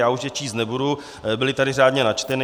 Já už je číst nebudu, byly tady řádně načteny.